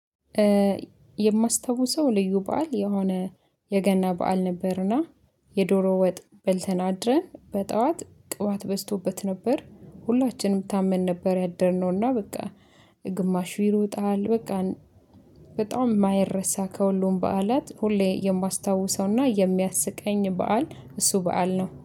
የማስታውሰው ልዩ በዓል የሆነ የገና በዓል ነበርና የዶሮ ወጥ በልተን አድረን በጧት ቅባት በዝቶበት ነበር። ሁላችንም ታመን ነበር ያደርነውና በቃ። ግማሽ ይሮጠሃል በቃ። በጣም የማይረሳ ከሁሉም በዓላት ሁሌ የማስታውሰውና የሚያስቀኝ በዓል እሱ በዓል ነው